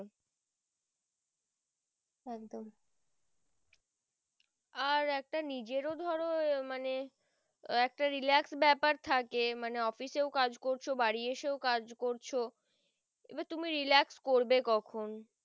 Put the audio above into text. আর একটা নিজেরও ধরো মানে একটা relax বেপার থেকে মানে office এও কাজ করছো বাড়ি এসেও কাজ করছো এই বার তুমি relax করবে কখন